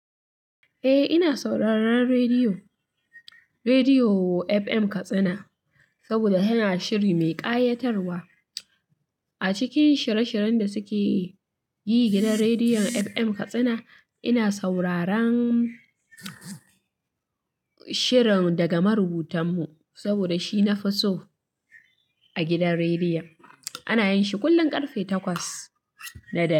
Eh ina sauraron rediyo, rediyo FM Katsina saboda yana shiri mai ƙayatarwa. A cikin shirye-shiryen da suke yi gidan rediyon FM Katsina, ina sauraron shirin daga marubutan mu saboda shi nafi so a gidan rediyo. Ana yin shi kullum karfe takwas da dare.